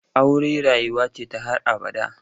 Aure rayuwa ce ta har abada.